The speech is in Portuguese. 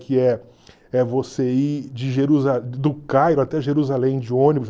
Que é é você ir de Jerusa do Cairo até Jerusalém de ônibus.